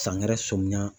Sangɛrɛ sɔmiya